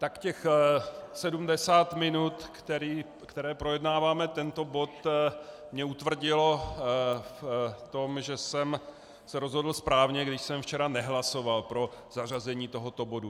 Tak těch 70 minut, které projednáváme tento bod, mě utvrdilo v tom, že jsem se rozhodl správně, když jsem včera nehlasoval pro zařazení tohoto bodu.